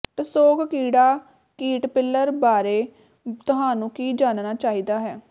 tussock ਕੀੜਾ caterpillar ਬਾਰੇ ਤੁਹਾਨੂੰ ਕੀ ਜਾਣਨਾ ਚਾਹੀਦਾ ਹੈ